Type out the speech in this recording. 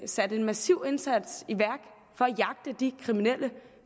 sat en massiv indsats i at jagte de kriminelle